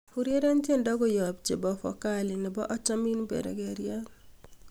ureren tiendo koyop en chepovokali nebo achomin bergeiyat